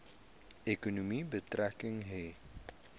ekonomie betrekking hê